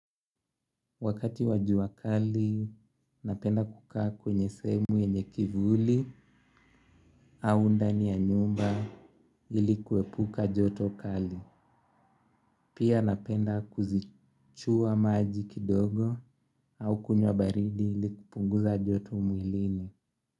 Wakati wa jua kali, napenda kukaa kwenye sehemu yenye kivuli au ndani ya nyumba ili kuepuka joto kali. Pia napenda kuzichua maji kidogo au kunywa baridi ili kupunguza joto mwilini.